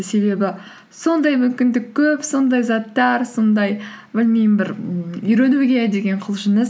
себебі сондай мүмкіндік көп сондай заттар сондай білмеймін бір ммм үйренуге деген құлшыныс